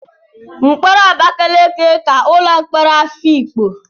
Mkpọrọ Abakaliki ka ụlọ mkpọrọ Afikpo.